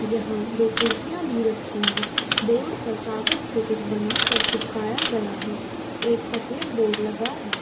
यहाँ दो कुर्सिया भी रखी है बोर्ड पर कागज से कुछ बनाकर चिपकाया गया है एक सफ़ेद बोर्ड लगा है।